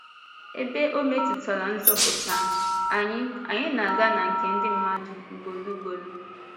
Ebe ọ̀ métụtara nzọpụta, anyị anyị na-aga na nke ndị mmadụ ugboro ugboro.